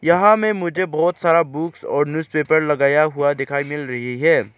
यहां में मुझे बहोत सारा बुक्स और न्यूजपेपर लगाया हुआ दिखाई मिल रही है।